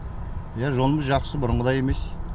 иә жолымыз жақсы бұрынғыдай емес